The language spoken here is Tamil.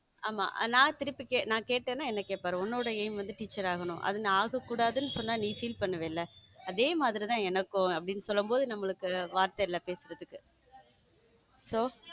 ஆமா நான் திருப்பி கேட்டனா என்ன கேட்பார் உன்னோட aim வந்து டீச்சர் ஆகணும் அதை நான் ஆக கூடாதுன்னு சொன்னா நீ feel பன்னுவில அதே மாதிரி தான் எனக்கும்அப்பிடின்னு சொல்லும்போது நமக்கு வார்த்தை இல்ல பேசுறதுக்க so.